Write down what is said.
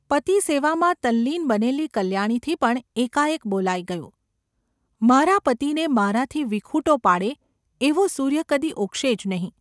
પતિસેવામાં તલ્લીન બનેલી કલ્યાણીથી પણ એકાએક બોલાઈ ગયું: ‘મારા પતિને મારાથી વિખૂટો પાડે એવો સૂર્ય કદી ઊગશે જ નહિ.